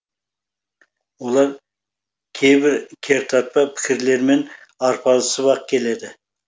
олар кейбір кертартпа пікірлермен арпалысып ақ келеді